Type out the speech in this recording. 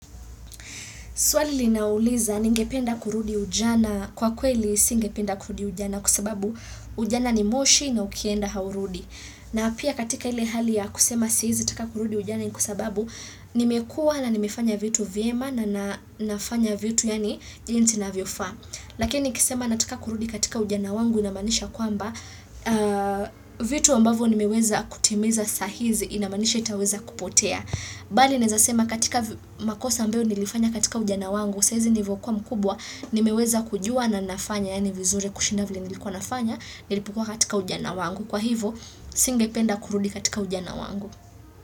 Swali linauliza ningependa kurudi ujana. Kwa kweli singependa kurudi ujana kwa sababu ujana ni moshi na ukienda haurudi. Na pia katika ile hali ya kusema siwezi taka kurudi ujana ni kwa sababu nimekuwa na nimefanya vitu vyema na nafanya vitu yani jinsi inavyofaa. Lakini nikisema nataka kurudi katika ujana wangu inamanisha kwamba vitu ambayvo nimeweza kutimiza sahi hizi inamaanisha vitaweza kupotea. Bali naweza sema katika makosa ambayo nilifanya katika ujana wangu saa hizi nilivyokuwa mkubwa nimeweza kujua na nafanya yani vizuri kushinda vile nilikuwa nafanya nilipokua katika ujana wangu kwa hivyo singependa kurudi katika ujana wangu.